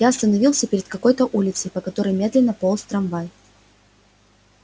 я остановился перед какой-то улицей по которой медленно полз трамвай